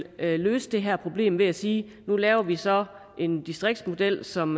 løse det her problem ved at sige at nu laver vi så en distriktsmodel som